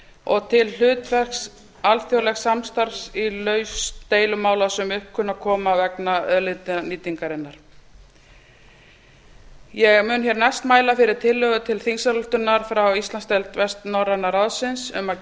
og til hlutverks alþjóðlegs samstarfs í lausn deilumála sem upp kunna að koma vegna auðlindanýtingar ég mun hér næst mæla fyrir tillögu til þingsályktunar frá íslandsdeild vestnorræna ráðsins um að